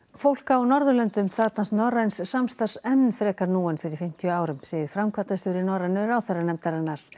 fólk á Norðurlöndum þarfnast norræns samstarfs enn frekar nú en fyrir fimmtíu árum segir framkvæmdastjóri Norrænu ráðherranefndarinnar